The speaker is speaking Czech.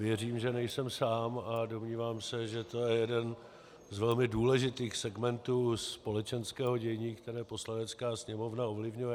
Věřím, že nejsem sám, a domnívám se, že to je jeden z velmi důležitých segmentů společenského dění, které Poslanecká sněmovna ovlivňuje.